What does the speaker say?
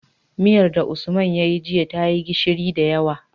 Miyar da usman yayi jiya tayi gishiri da yawa